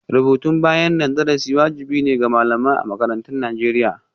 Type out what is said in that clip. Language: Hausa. Rubutun bayanan darasi wajibi ne ga malamai a makarantun Najeriya.